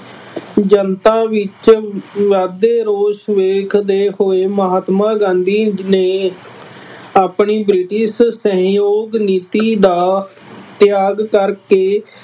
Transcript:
ਜਨਤਾ ਵਿੱਚ ਵੱਧਦੇ ਰੋਸ ਵੇਖਦੇ ਹੋਏ ਮਹਾਤਮਾ ਗਾਂਧੀ ਨੇ ਆਪਣੀ ਬ੍ਰਿਟਿਸ਼ ਸਹਿਯੋਗ ਨੀਤੀ ਦਾ ਤਿਆਗ ਕਰਕੇ